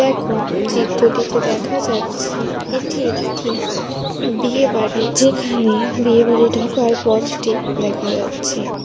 এখন চিত্রটিতে দেখা যাচ্ছে এটি একটি বিয়ে বাড়ি যেখানে বিয়ে বাড়ি ঢোকার পথটি দেখা যাচ্ছে ।